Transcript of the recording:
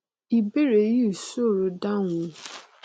ìbéèrè yìí sòro dáhùn o